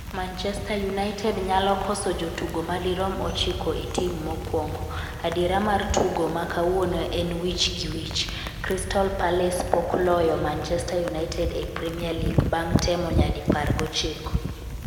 Manchester United nyalo koso jotugo madirom ochiko e tim mokwongo 'Adiera mar tugo ma kawuono en wich gi wich. Crystal Palace pok loyo Manchester United e Premier League bang' temo nyadi par gochiko